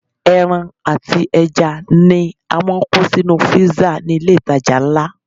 Ẹran àti ẹja ni a máa ń kó sínú fírísà ní ilé ìtajà ńlá.